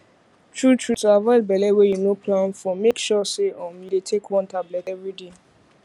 truetrue to avoid belle wey you no plan for make sure say um you dey take one tablet everyday